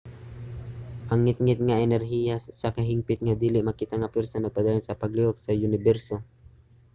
ang ngitngit nga enerhiya usa ka hingpit nga dili makita nga pwersa nga nagpadayon sa paglihok sa uniberso